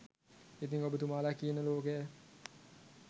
ඉතින් ඔබ තුමාලා කියන ලෝකය